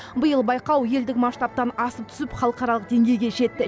биыл байқау елдік масштабтан асып түсіп халықаралық деңгейге жетті